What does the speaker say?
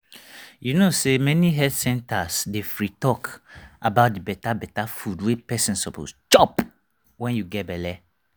you know say many health centers dey free talk about the better better food wey person suppose chop when you get belle